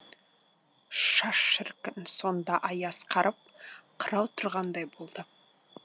шаш шіркін сонда аяз қарып қырау тұрғандай болды